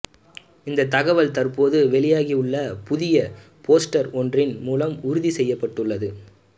இந்த தகவல் தற்போது வெளியாகி உள்ள புதிய போஸ்டர் ஒன்றின் மூலம் உறுதி செய்யப்பட்டுள்ளது